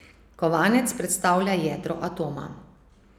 Kovanec predstavlja jedro atoma.